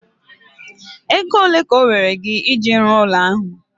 Ego ole ka owere gị eji rụọ ụlọ ahu?